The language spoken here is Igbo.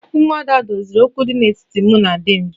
Umuada' doziri okwu dị n'etiti mụ na di m